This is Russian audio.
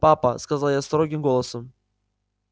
папа сказал я строгим голосом